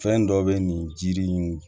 Fɛn dɔ bɛ nin jiri in